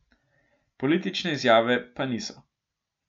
Politične izjave pa niso.